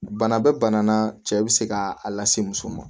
Bana bɛ bana na cɛ bɛ se ka a lase muso ma